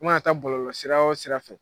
mana taa ka bɔlɔlɔsira wo sira fɛ.